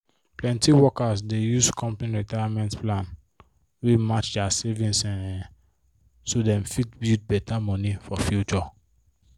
plenty workers dey use company retirement plan wey match their savings um so dem fit build better money for future